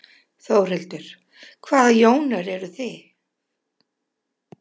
Þórhildur: Hvaða Jónar eruð þið?